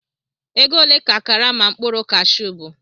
Ego ole ka karama mkpụrụ Kashu bu?